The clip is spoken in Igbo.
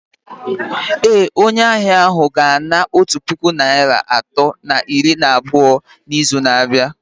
Ee, onye ahịa ahụ ga-ana otu puku naịra atọ na iri na abụọ n’izu na-abịa